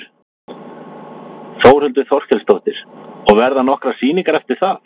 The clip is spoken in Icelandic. Þórhildur Þorkelsdóttir: Og verða nokkrar sýningar eftir það?